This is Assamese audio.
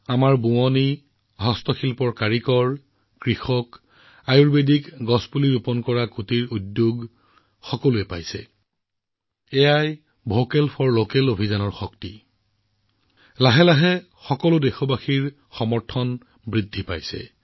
আমাৰ শিপিনী হস্তশিল্প শিপিনী আমাৰ কৃষক কুটিৰ উদ্যোগসমূহে আয়ুৰ্বেদিক গছ ৰোপণ কৰা এই বিক্ৰীৰ সুবিধা সকলোৱে লাভ কৰিছে আৰু এয়াই হৈছে ভোকেল ফৰ লোকেল অভিযানৰ শক্তি আৰু ইয়াৰ প্ৰতি ক্ৰমান্বয়ে আপোনালোক সকলো দেশবাসীৰ সমৰ্থন বৃদ্ধি পাই আহিছে